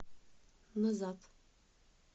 назад